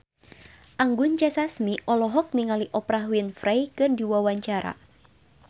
Anggun C. Sasmi olohok ningali Oprah Winfrey keur diwawancara